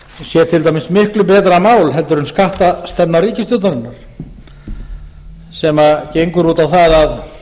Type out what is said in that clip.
sé til dæmis miklu betra mál en skattastefna ríkisstjórnarinnar sem gengur út á það að